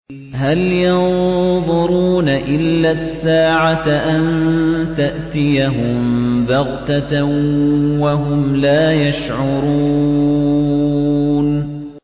هَلْ يَنظُرُونَ إِلَّا السَّاعَةَ أَن تَأْتِيَهُم بَغْتَةً وَهُمْ لَا يَشْعُرُونَ